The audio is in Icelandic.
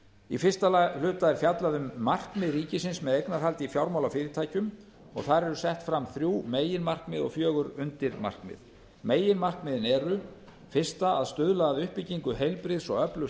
í fyrsta hluta er fjallað um markmið ríkisins með eignarhaldi í fjármálafyrirtækjum og þar eru sett fram þrjú meginmarkmið og fjögur undirmarkmið meginmarkmiðin eru fyrstu að stuðla að uppbyggingu heilbrigðs og öflugs